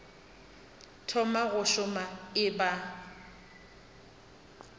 thoma go šoma e ba